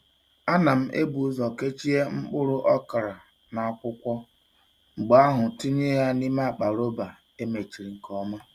Ana m ebu ụzọ kechie mkpụrụ okra n’akwụkwọ, mgbe ahụ tinye ya n’ime akpa rọba e mechiri nke ọma.